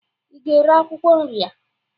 ị ga-ere akwụkwọ nri a?